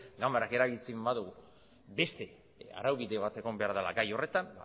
ganbarak erabakitzen badu beste arau bide bat egon behar dela gai horretan